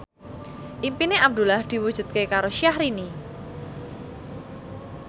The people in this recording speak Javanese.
impine Abdullah diwujudke karo Syahrini